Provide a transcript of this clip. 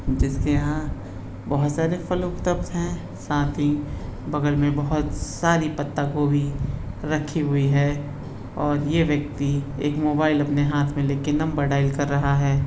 जिसके यहाँ बहुत सारे फल उपलब्ध है साथ ही बगल में बहुत सारी पत्ता गोभी रखी हुई है और यह व्यक्ति एक मोबाईल अपने हाथ में लेके नंबर डाइल कर रहा है।